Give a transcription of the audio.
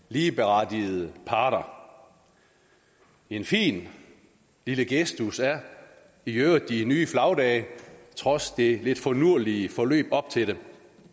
ligeberettigede parter en fin lille gestus er i øvrigt de nye flagdage trods det lidt finurlige forløb op til det